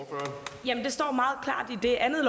det er jo